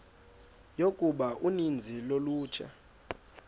yokuba uninzi lolutsha